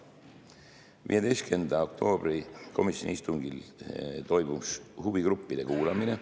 15. oktoobri komisjoni istungil toimus huvigruppide arvamuste kuulamine.